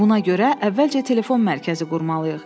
Buna görə əvvəlcə telefon mərkəzi qurmalıyıq.